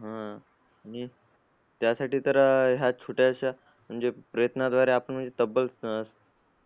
हम्म आणि त्यासाठी तर अं ह्या छोट्याशा म्हणजे प्रयत्नाद्वारे आपण म्हणजे तब्बल